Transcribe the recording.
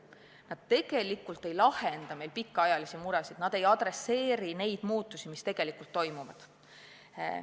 Need tegelikult ei lahendaks meie pikaajalisi muresid, need ei pea piisavalt silmas muutusi, mis tegelikult toimuvad.